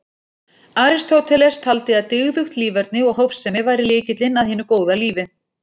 Aristóteles taldi að dygðugt líferni og hófsemi væri lykillinn að hinu góða lífi.